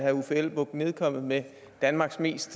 herre uffe elbæk nedkommet med danmarks mest